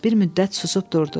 Bir müddət susub durdu.